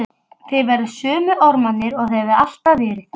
Þið verðið sömu ormarnir og þið hafið alltaf verið.